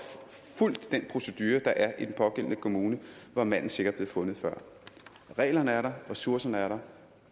fulgt den procedure der er i den pågældende kommune var manden sikkert blevet fundet før reglerne er der ressourcerne er der